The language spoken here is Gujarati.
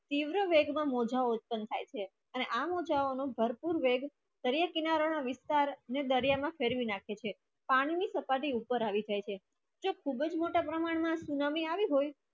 ત્રિવ દર મા મૌજા ઉત્પન થાય છે અને આ મૌજાઓ ભરપુર વેધ દરિયા કિરાના ના વિસ્તાર દરિયા માં ફરવી નાખે છે પાણી ખાંભા થી ઉપર આવી જાય છે છે ખૂબ જ મોટા પ્રમાન ના સુનામી આવી હોય